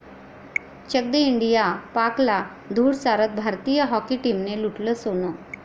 Chak De India, पाकला धूळ चारत भारतीय हॉकी टीमने लुटलं 'सोनं'